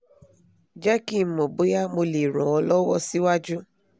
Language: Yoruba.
jẹ́ kí n mọ̀ bóyá mo lè ran ọ́ lọ́wọ́ síwájú